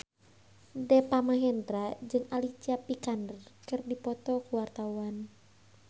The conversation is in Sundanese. Deva Mahendra jeung Alicia Vikander keur dipoto ku wartawan